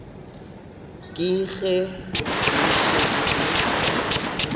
ke ge ke šetše ke